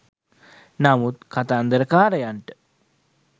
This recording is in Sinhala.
නමුත් කතන්දරකාරයාට